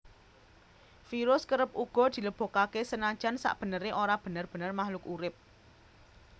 Virus kerep uga dilebokaké senajan sakbeneré ora bener bener makhluk urip